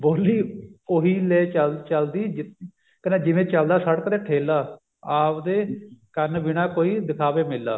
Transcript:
ਬੋਲੀ ਉਹੀ ਉਹੀ ਲੈ ਚੱਲਦੀ ਕਹਿੰਦੇ ਜਿਵੇਂ ਚੱਲਦਾ ਸੜਕ ਤੇ ਠੇਲਾ ਆਵਦੇ ਕੰਨ ਬਿਨਾ ਕੋਈ ਦਿਖਾਵੇ ਮੇਲਾ